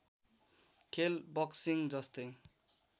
खेल बक्सिङ जस्तै